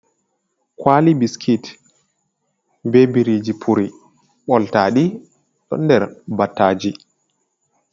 Kwali biskit be biriji puri boltaɗi ɗon ɗer battaji.